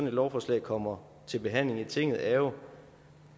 et lovforslag kommer til behandling i tinget er jo